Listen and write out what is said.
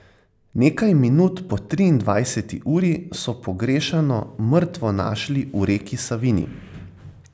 Nekaj minut po triindvajseti uri so pogrešano mrtvo našli v reki Savinji.